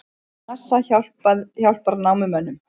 NASA hjálpar námumönnum